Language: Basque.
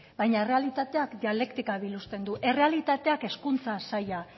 baina errealitateak dialektika biluzten du errealitateak hezkuntza sailak